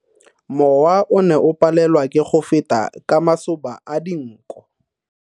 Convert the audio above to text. Mowa o ne o palelwa ke go feta ka masoba a dinko.